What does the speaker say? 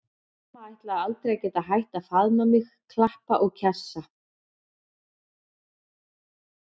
Mamma ætlaði aldrei að geta hætt að faðma mig, klappa og kjassa.